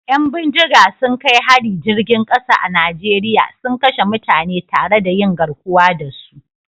Yan bindiga sun kai hari jirgin kasa a Najeriya suna kashe mutane tare da yin garkuwa da su